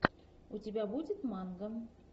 у тебя будет манго